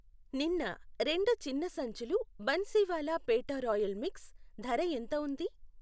నిన్న రెండు చిన్న సంచులు బన్సీవాలా పేఠా రాయల్ మిక్స్ ధర ఎంత ఉంది?